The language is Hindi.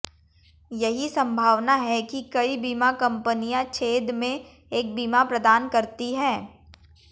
यही संभावना है कि कई बीमा कंपनियां छेद में एक बीमा प्रदान करती हैं